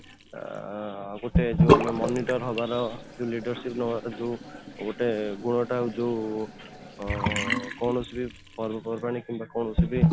ଆଁ ଆଉ ଗୋଟେ ଯୋଉ ଆମେ ଯୋଉଁ monitor ହବାର ଯୋଉ leadership ନବାର ଯୋଉ ଗୋଟେ ଗୁଣ ଟା ଯୋଉ ଅଂ କୌଣସି ପର୍ବପର୍ବାଣି ବି କିମ୍ବା କୌଣସି ବି